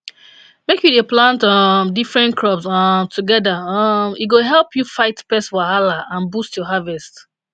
make you dey plant um different crops um together um e go help you fight pest wahala and boost your harvest